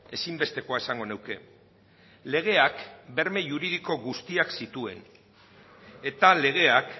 ezinbestekoa esango nuke legeak berme juridiko guztiak zituen eta legeak